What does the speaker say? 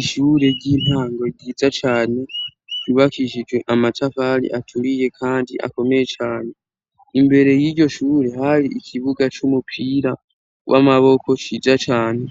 Ishure ry'intango ryiza cane ryubakishijwe amatafari aturiye kandi akomeye cane. Imbere y'iryo shure hari ikibuga c'umupira w'amaboko ciza cane